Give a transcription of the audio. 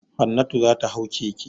Hannatu za ta hau keke.